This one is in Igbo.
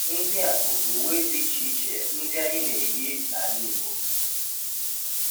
Ndị a bụ uwe dị iche iche ndị anyị na-eyi n’ala Igbo